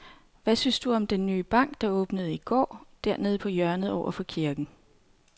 Hvad synes du om den nye bank, der åbnede i går dernede på hjørnet over for kirken?